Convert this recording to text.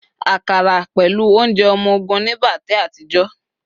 akara pẹlu ounjẹ ọmọ ogun nibate àtijó